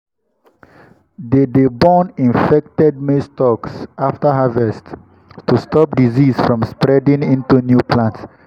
they dey burn infected maize stalks after harvest to stop disease from spreading into new plants.